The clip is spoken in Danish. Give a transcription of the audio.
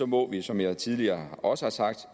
må vi som jeg tidligere også har sagt